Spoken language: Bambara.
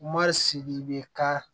Ma sigi bɛ ka